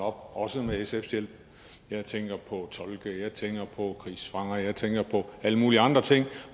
op også med sfs hjælp jeg tænker på tolke jeg tænker på krigsfanger jeg tænker på alle mulige andre ting